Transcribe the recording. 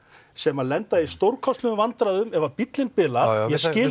sem lenda í stórkostlegum vandræðum ef bíllinn bilar ég skil